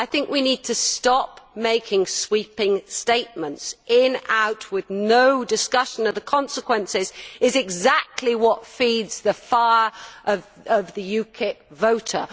I think we need to stop making sweeping statements in, out, with no discussion of the consequences, is exactly what feeds the fire of the UKIP voter.